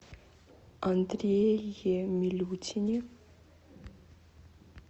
андрее милютине